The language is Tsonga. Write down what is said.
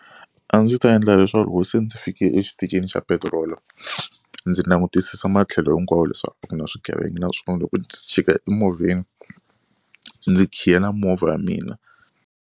A ndzi ta endla leswaku loko si ndzi fike exitichini xa petirolo ndzi langutisisa matlhelo hinkwawo leswaku a ku na swigevenga naswona loko ndzi chika emovheni ndzi khiyela movha ya mina.